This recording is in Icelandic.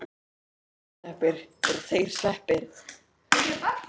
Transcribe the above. reifasveppir eru þeir sveppir sem helst valda eitrunum í fólki